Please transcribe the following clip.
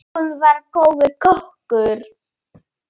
Hún var góður kokkur.